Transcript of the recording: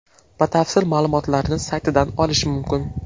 Batafsil ma’lumotlarni saytidan olish mumkin.